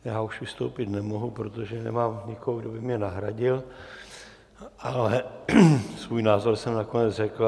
Já už vystoupit nemohu, protože nemám nikoho, kdo by mě nahradil, ale svůj názor jsem nakonec řekl.